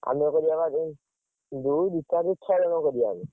ଆମେ କରିବା ଏଇ ଦୁଇ ଦୁଇ ଚାରି ଦୁଇ ଛଅ ଜଣ କରିବା।